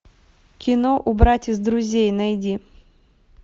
кино убрать из друзей найди